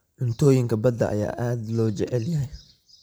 Cuntooyinka badda ayaa aad loo jecel yahay.